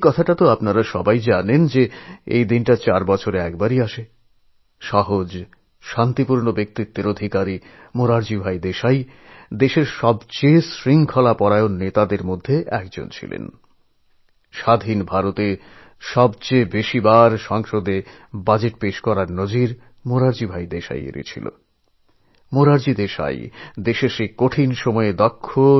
সেদিনের ঐ কঠিন সময়ে মোরারজী দেশাই ভারতকে সঠিক